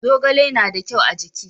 zogale na da kyau a jiki